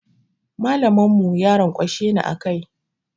Mallamin mu ya ranƙwashe ni a kai.